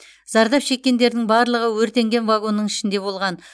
зардап шеккендердің барлығы өртенген вагонның ішінде болған